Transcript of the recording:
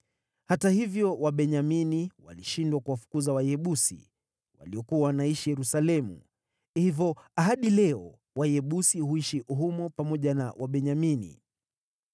Hata hivyo, Wabenyamini walishindwa kuwafukuza Wayebusi, waliokuwa wanaishi Yerusalemu; hivyo hadi leo Wayebusi huishi humo pamoja na Wabenyamini.